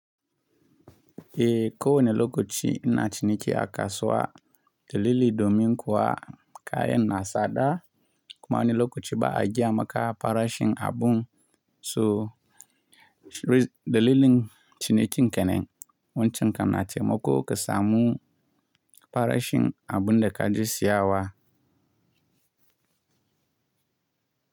Eh ko wane lokaci ina ciniki a kasuwa, dalili domin kuwa kayan na sada kuma wani lokaci ba a gaya maka farashin abun. So ri dalilin cinikin kenan wancan kan na taimako kasamu farashin abun da kaje siya wa.